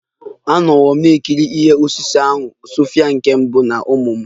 Anọwo m na-ekiri ihe osise ahụ Sophia nke mbụ na ụmụ m